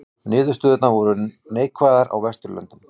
Niðurstöðurnar voru neikvæðastar á Vesturlöndum